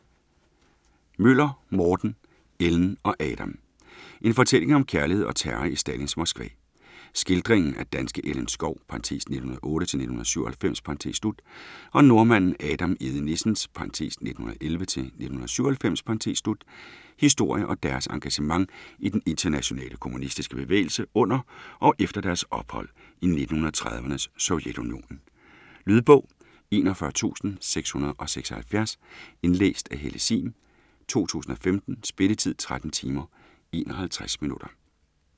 Møller, Morten: Ellen og Adam En fortælling om kærlighed og terror i Stalins Moskva. Skildring af danske Ellen Schou (1908-1997) og nordmanden Adam Egede-Nissens (1911-1997) historie og deres engagement i den internationale kommunistiske bevægelse under og efter deres ophold i 1930'ernes Sovjetunionen. Lydbog 41676 Indlæst af Helle Sihm, 2015. Spilletid: 13 timer, 51 minutter.